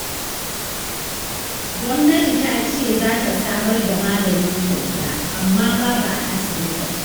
Gwamnati ta ce za ta samar da magani kyauta, amma babu a asibitin